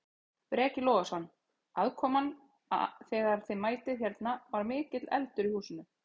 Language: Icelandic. Breki Logason: Aðkoman þegar að þið mætið hérna, var mikill eldur í húsinu?